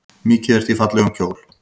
Mikið ertu í fallegum kjól.